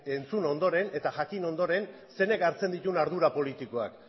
entzun ondoren eta jakin ondoren zeinek hartzen dituen ardura politikoak